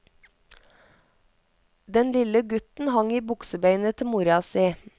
Den lille gutten hang i buksebeinet til mora si.